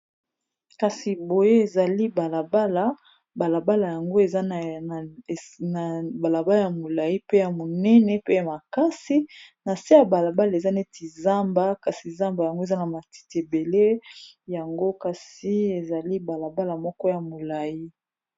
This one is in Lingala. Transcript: Kasi boye ezali balabala balabala yango na balabala ya molai pe ya monene pe ya makasi na se ya balabala eza neti zamba kasi zamba yango eza na matiti ebele yango kasi ezali balabala moko ya molayi.